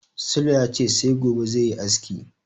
Sule ya ce sai gobe zai yi aski.